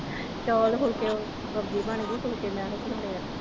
ਚੌਲ ਹੋ ਕੇ ਉਹ ਬੱਬੂ ਭੈਣ ਨੂੰ ਫੁਲਕੇ ਲਾਹੁਣ ਲਈ ਕਿਹਾ